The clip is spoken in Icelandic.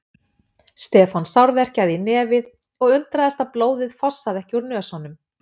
Stefán sárverkjaði í nefið og undraðist að blóðið fossaði ekki úr nösunum.